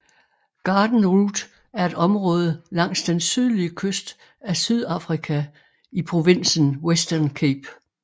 Garden Route er et område langs den sydlige kyst af Sydafrika i provinsen Western Cape